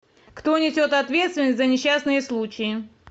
кто несет ответственность за несчастные случаи